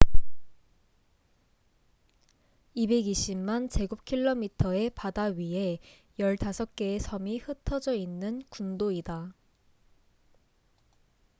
220만 제곱킬로미터의 바다 위에 15개의 섬이 흩어져 있는 군도이다